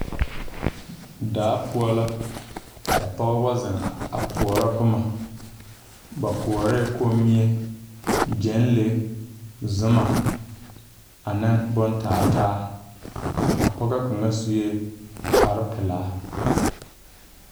Daa poɔ la ka pɔgeba zeŋ a koɔrɔ bomma ba koɔrɛɛ kommie, gyɛnlee, zuma aneŋ bon taa taa a pɔgɔ suee kpare pilaa.